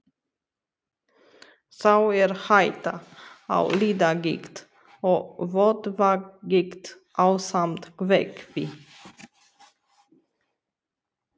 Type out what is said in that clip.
Þá er hætta á liðagigt og vöðvagigt, ásamt kvefi.